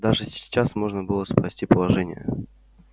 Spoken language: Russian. даже сейчас можно было спасти положение